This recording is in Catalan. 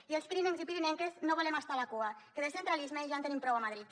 i els pirinencs i pirinenques no volem estar a la cua que de centralisme ja en tenim prou a madrid